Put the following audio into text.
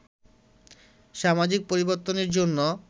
সামাজিক পরিবর্তনের জন্য